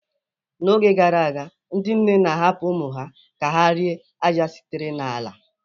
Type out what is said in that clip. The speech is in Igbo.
N'oge gara aga, ndị nne na-ahapụ ụmụ ha ka ha rie ájá sitere n'ala.